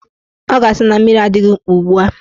Ọ ga-asị na mmiri adịghị mkpa ugbua